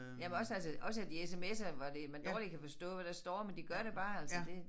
Jamen også altså også at de sms'er hvor det hvor man dårligt kan forstå hvad der står men de gør det bare altså det